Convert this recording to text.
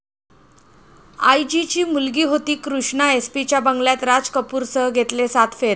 आय.जी.ची मुलगी होती कृष्णा, एसपीच्या बंगल्यात राज कपूरसह घेतले सात फेरे